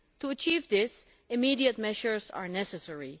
To achieve this, immediate measures are necessary.